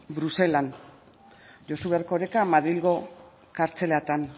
bruselan josu erkoreka madrilgo kartzelatan